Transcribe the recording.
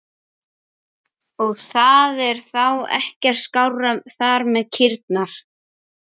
Ég get kannski skotist til þín á eftir.